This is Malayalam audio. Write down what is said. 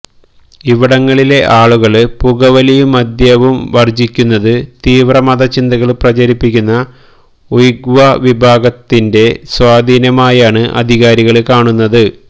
ഇവിടങ്ങളിലെ ആളുകള് പുകവലിയും മദ്യവും വര്ജ്ജിക്കുന്നത് തീവ്ര മത ചിന്തകള് പ്രചരിപ്പിക്കുന്ന ഉയഗ്വ്വ വിഭാഗത്തിന്റെ സ്വാധീനമായാണ് അധികാരികള് കാണുന്നത്